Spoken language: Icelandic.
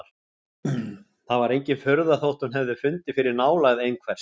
Það var engin furða þótt hún hefði fundið fyrir nálægð einhvers!